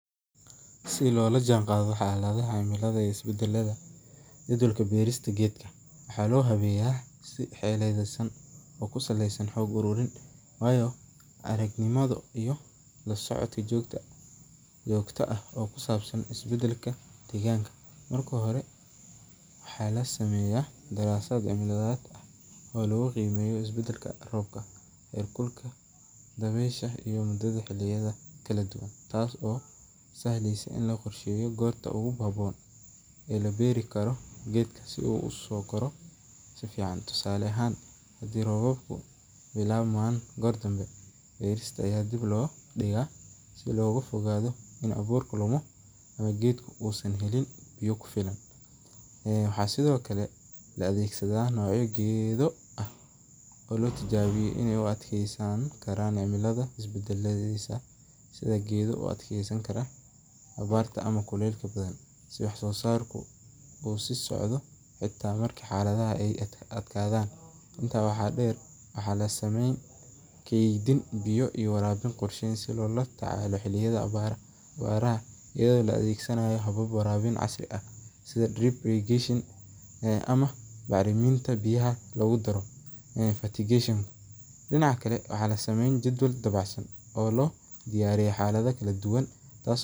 Si loola jaan qaado cimilaha waxaa loo habeeya si xeeladasan, marka hore waxaa lasameeya darasad cilmiyeed, taas oo sahleysa in la qorsheeya goorta la beeri karo, si looga fogaado in abuurku dump, waxaa la isticmaala noocya geedo u adkeeyasan kara xalada kulul, keedin biya ayado la adeegsanaayo biya ilaalin, waxaa la sameeya jadwal wanagsan.